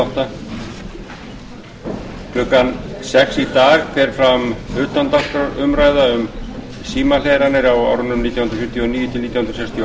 klukkan sex í dag fer fram utandagskrárumræða um símhleranir á árunum nítján hundruð fjörutíu og níu til nítján hundruð sextíu og